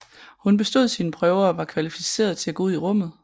Hun bestod sine prøver og var kvalificeret til at gå ud i rummet